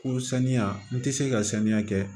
Ko saniya n tɛ se ka sanuya kɛ